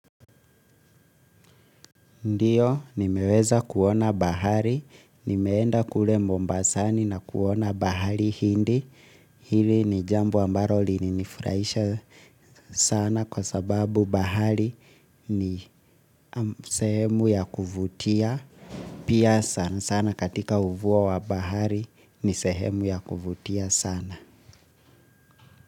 Ndiyo, nimeweza kuona bahari, nimeenda kule mombasani na kuona bahari hindi, hili ni jamb ambalo lilinifurahisha sana kwa sababu bahari ni sehemu ya kuvutia, pia sana sana katika ufuo wa bahari ni sehemu ya kuvutia sana.